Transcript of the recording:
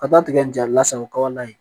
Ka taa tigɛ nin jalasago kaba la yen